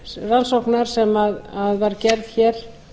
þeirrar rannsóknar sem var gerð hér